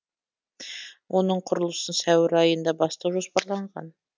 оның құрылысын сәуір айында бастау жоспарланған